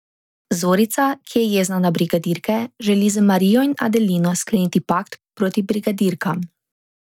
Zorica, ki je jezna na brigadirke, želi z Marijo in Adelino skleniti pakt proti brigadirkam.